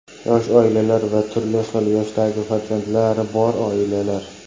Yosh oilalar va turli xil yoshdagi farzandlari bor oilalar.